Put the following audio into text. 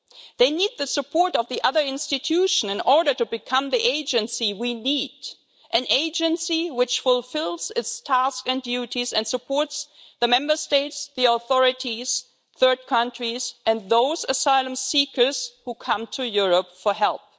They need the support of the other institutions in order to become the agency we need an agency which fulfils its tasks and duties and supports the Member States, the authorities, third countries, and those asylum seekers who come to Europe for help.